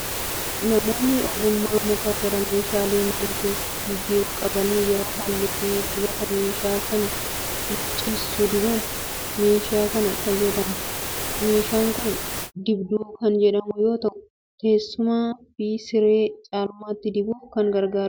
Namoonni ogummaa muka gara meeshaalee mana keessaatti jijjiiruu qabani, yeroo halluu fi dibataa meeshaa sana luuccessu dibaan meeshaa kana fayyadamu. Meeshaan kun dibduu kan jedhamu yoo ta'u, teessumaa fi siree caalmaatti dibuuf kan gargaarudha.